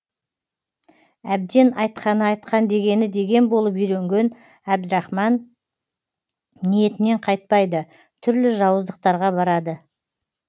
әбден айтқаны айтқан дегені деген болып үйренген әбдірахман ниетінен қайтпайды түрлі жауыздықтарға барады